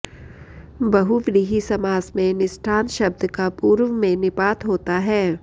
बहुव्रीहि समास में निष्ठान्त शब्द का पूर्व में निपात होता है